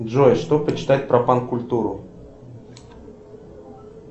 джой что почитать про панк культуру